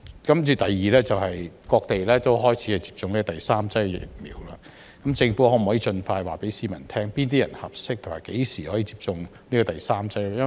此外，有些地方已開始接種第三劑疫苗，政府可否盡快告訴市民，哪些人合適，以及何時可以接種第三劑疫苗呢？